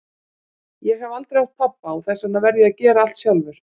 Ég hef aldrei átt pabba og þess vegna verð ég að gera allt sjálfur.